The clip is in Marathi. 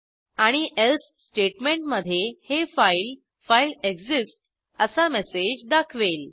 आणि एल्से स्टेटमेंटमधे हे फाईल फाइल एक्सिस्ट्स असा मेसेज दाखवेल